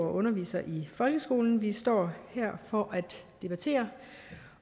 og undervisere i folkeskolen vi står her for at debattere